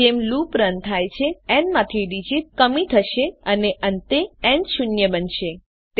તેથી જેમ loop run થાય છે ન માંથી ડીજીટ ર્ક થશે અને અંતે ન શૂન્ય બનશે